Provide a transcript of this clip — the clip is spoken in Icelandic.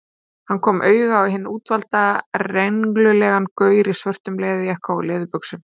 Hann kom auga á hinn útvalda, renglulegan gaur í svörtum leðurjakka og leðurbuxum.